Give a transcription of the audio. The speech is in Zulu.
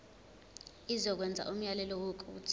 izokwenza umyalelo wokuthi